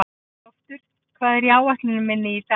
Loftur, hvað er á áætluninni minni í dag?